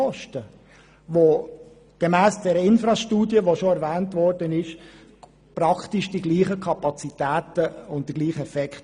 Diese hätte gemäss der bereits erwähnten INFRAS-Studie dieselben Kapazitäten und Effekte.